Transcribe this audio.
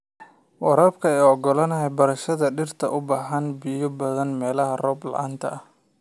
Waraabka ayaa ogolaanaya beerashada dhirta u baahan biyo badan meelaha roob la'aanta ah.